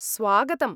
स्वागतम्।